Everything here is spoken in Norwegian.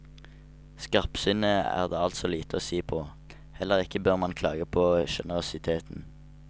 Skarpsinnet er det altså lite å si på, heller ikke bør man klage på generøsiteten.